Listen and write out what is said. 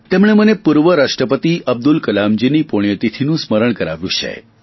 તેમણે મને પૂર્વ રાષ્ટ્રપતિ અબ્દુલ કલામજીની પુણ્યતિથિનું સ્મરણ કરાવ્યું છે